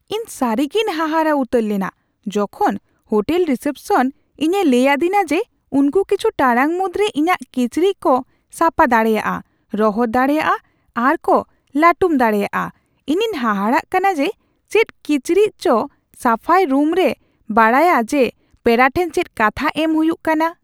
ᱤᱧ ᱥᱟᱹᱨᱤᱜᱮᱧ ᱦᱟᱦᱟᱲᱟ ᱩᱛᱟᱹᱨ ᱞᱮᱱᱟ ᱡᱚᱠᱷᱚᱱ ᱦᱳᱴᱮᱞ ᱨᱤᱥᱮᱯᱥᱚᱱ ᱤᱧᱮ ᱞᱟᱹᱭ ᱟᱹᱫᱤᱧᱟ ᱡᱮ ᱩᱱᱠᱩ ᱠᱤᱪᱷᱩ ᱴᱟᱲᱟᱝ ᱢᱩᱫᱽᱨᱮ ᱤᱧᱟᱜ ᱠᱤᱪᱨᱤᱪ ᱠᱚ ᱥᱟᱯᱟ ᱫᱟᱲᱮᱭᱟᱜᱼᱟ, ᱨᱚᱦᱚᱲ ᱫᱟᱲᱮᱭᱟᱜᱼᱟ, ᱟᱨ ᱠᱚ ᱞᱟᱹᱴᱩᱢ ᱫᱟᱲᱮᱭᱟᱜᱼᱟ ᱾ ᱤᱧᱤᱧ ᱦᱟᱦᱟᱲᱟᱜ ᱠᱟᱱᱟ ᱡᱮ ᱪᱮᱫ ᱠᱤᱪᱨᱤᱪ ᱥᱟᱯᱷᱟᱭ ᱨᱩᱢᱮ ᱵᱟᱰᱟᱭᱟ ᱡᱮ ᱯᱮᱲᱟ ᱴᱷᱮᱱ ᱪᱮᱫ ᱠᱟᱛᱷᱟ ᱮᱢ ᱦᱩᱭᱩᱜ ᱠᱟᱱᱟ ᱾